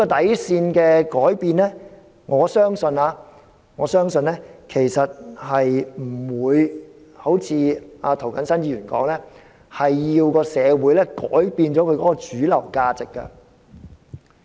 我相信改變這條底線不會如涂謹申議員所說，社會要改變其主流價值。